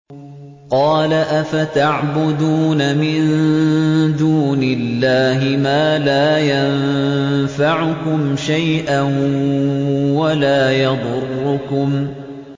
قَالَ أَفَتَعْبُدُونَ مِن دُونِ اللَّهِ مَا لَا يَنفَعُكُمْ شَيْئًا وَلَا يَضُرُّكُمْ